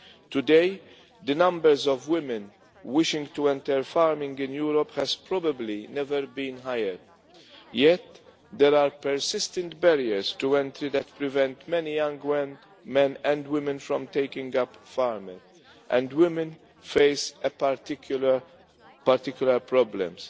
Today, the numbers of women wishing to enter farming in Europe has probably never been higher, yet there are persistent barriers to entry that prevent many young men and women from taking up farming, and women face particular problems.